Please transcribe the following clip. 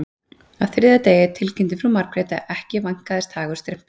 Á þriðja degi tilkynnti frú Margrét að ekki vænkaðist hagur Strympu